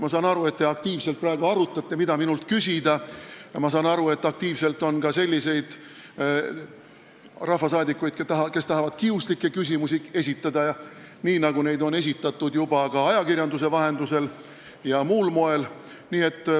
Ma saan aru, et te praegu aktiivselt arutate, mida minult küsida, ja et on selliseidki rahvasaadikuid, kes tahavad kiuslikke küsimusi esitada, nii nagu neid on juba ka ajakirjanduse vahendusel ja muul moel esitatud.